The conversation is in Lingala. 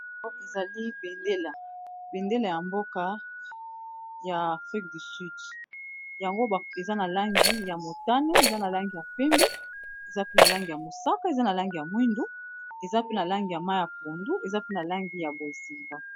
Ezali bendela, bendela ya mboka ya afrique du sud. Yango eza na langi ya motane, eza na langi ya pembe, eza pe na langi ya mosaka, eza na langi ya mwindu, eza pe na langi ya mayi ya pondu, eza pe na langi ya bozinga.